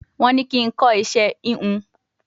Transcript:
Wọ́n ní kí n kọ́ iṣẹ́ híhun